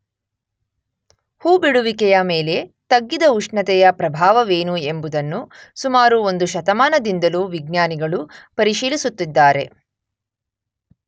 ಹೂ ಬಿಡುವಿಕೆಯ ಮೇಲೆ ತಗ್ಗಿದ ಉಷ್ಣತೆಯ ಪ್ರಭಾವವೇನು ಎಂಬುದನ್ನು ಸುಮಾರು ಒಂದು ಶತಮಾನದಿಂದಲೂ ವಿಜ್ಞಾನಿಗಳು ಪರಿಶೀಲಿಸುತ್ತಿದ್ದಾರೆ.